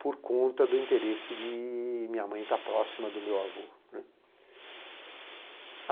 por conta do interesse de minha mãe estar próxima do meu avô, né.